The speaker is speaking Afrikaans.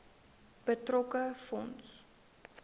betrokke fonds